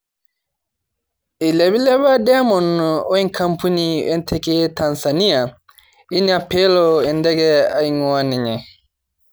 Eilipilepa Diamond oe kampuni oo ntekei e Tanzania ina peelo enteke aing'ua ninye